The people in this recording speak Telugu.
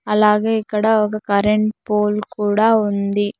అలాగే ఇక్కడ ఒక కరెంట్ పోల్ కూడా ఉంది.